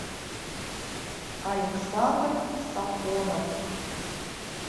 александр сафонов